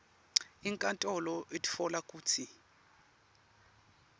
inkantolo itfola kutsi